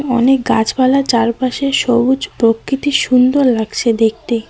অনেক গাছপালা চারপাশে সবুজ প্রকৃতি সুন্দর লাগছে দেখতে।